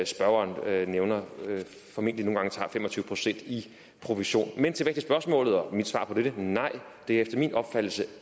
spørgeren nævner formentlig nogle gange tager fem og tyve procent i provision men tilbage til spørgsmålet og mit svar på dette nej det er efter min opfattelse